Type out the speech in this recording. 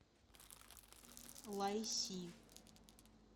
лайси